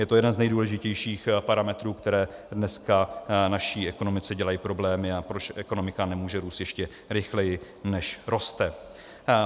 Je to jeden z nejdůležitějších parametrů, které dneska naší ekonomice dělají problémy, a proč ekonomika nemůže růst ještě rychleji, než roste.